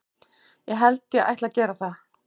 Ég held ég ætli að gera það.